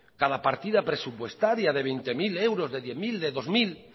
cada partida presupuestaria de veinte mil euros de diez mil de dos mil